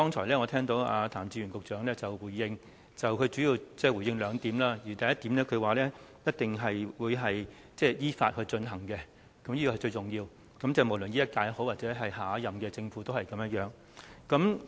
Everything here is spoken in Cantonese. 我聽罷譚志源局長剛才的回應，他主要回應兩點：首先是一定依法進行，這點是最重要的，無論是現屆或下屆政府都是一樣。